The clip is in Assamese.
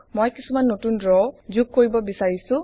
মই কিছুমান নতুন ৰ যোগ কৰিব বিছাৰিছো